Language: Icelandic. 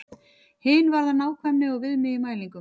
Hin varðar nákvæmni og viðmið í mælingum.